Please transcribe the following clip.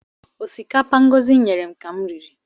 Ọsikapa Ngọzi nyere m ka m riri